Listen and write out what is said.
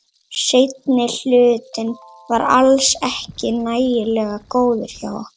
Seinni hlutinn var alls ekki nægilega góður hjá okkur.